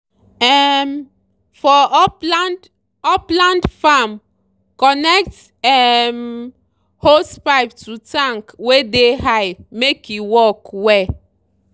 um for upland upland farm connect um hosepipe to tank wey dey high make e work well